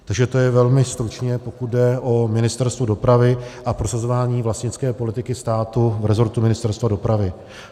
Takže to je velmi stručně, pokud jde o Ministerstvo dopravy a prosazování vlastnické politiky státu v rezortu Ministerstva dopravy.